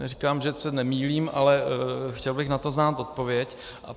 Neříkám, že se nemýlím, ale chtěl bych na to znát odpověď.